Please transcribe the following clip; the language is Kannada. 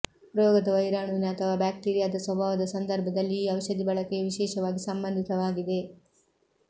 ರೋಗದ ವೈರಾಣುವಿನ ಅಥವಾ ಬ್ಯಾಕ್ಟೀರಿಯಾದ ಸ್ವಭಾವದ ಸಂದರ್ಭದಲ್ಲಿ ಈ ಔಷಧಿ ಬಳಕೆಯು ವಿಶೇಷವಾಗಿ ಸಂಬಂಧಿತವಾಗಿದೆ